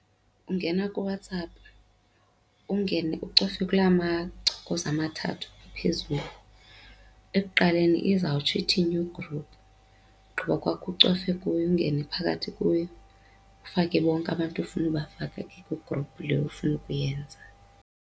Ungena kuWhatsApp, ungene ucofe kulaa machokoza amathathu aphezulu. Ekuqaleni, izawutsho ithi-new group. Ugqiba kwakho ucofe kuyo ungene phakathi kuyo ufake bonke abantu efuna ubafake ke kwi-group le ofuna ukuyenza.